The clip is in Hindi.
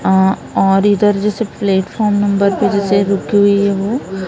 अं और इधर जैसे प्लेटफार्म नंबर पे जैसे रुकी हुई है वो--